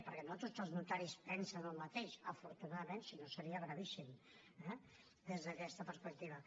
perquè no tots els notaris pensen el mateix afortunadament si no seria gravíssim eh des d’aquesta perspectiva